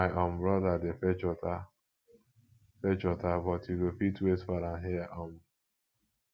my um broda dey fetch water fetch water but you go fit wait for am here um